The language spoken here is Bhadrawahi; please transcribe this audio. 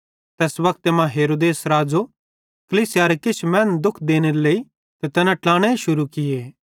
तैस्से वक्ते मां हेरोदेस राज़ो कलीसियारे किछ मैनन् दुःख देनेरे लेइ तैना ट्लाने शुरू कीए